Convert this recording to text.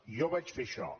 jo vaig fer això